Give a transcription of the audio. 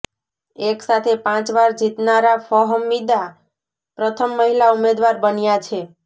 એક સાથે પાંચ વાર જીતનારાં ફહમીદા પ્રથમ મહિલા ઉમેદવાર બન્યાં છે